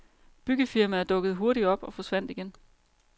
Byggefirmaer dukkede hurtigt op og forsvandt igen.